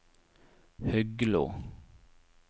Huglo